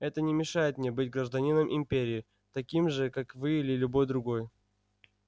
это не мешает мне быть гражданином империи таким же как вы или любой другой